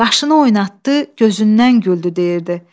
“Qaşını oynatdı, gözündən güldü” deyirdi.